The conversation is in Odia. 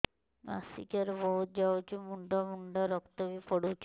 ମାସିକିଆ ରେ ବହୁତ ଯାଉଛି ମୁଣ୍ଡା ମୁଣ୍ଡା ରକ୍ତ ବି ପଡୁଛି